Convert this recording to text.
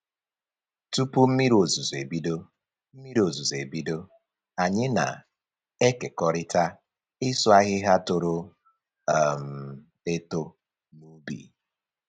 Tupu mmiri ozuzu ebido, mmiri ozuzu ebido, anyị na-ekerikọta ịsụ ahịhịa toro um eto n'ubi